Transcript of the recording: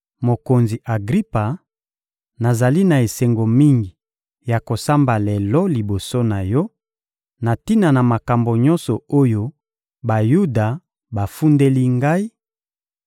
— Mokonzi Agripa, nazali na esengo mingi ya kosamba lelo liboso na yo, na tina na makambo nyonso oyo Bayuda bafundeli ngai,